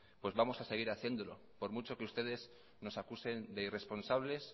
pues vamos a seguir haciéndolo por mucho que ustedes nos acusen de irresponsables